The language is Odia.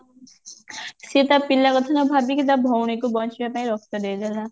ସେ ତା ପିଲା କଥା ନ ଭାବିକି ତା ଭଉଣୀ କୁ ବଞ୍ଚିବା ପାଇଁ ରକ୍ତ ଦେଇଦେଲା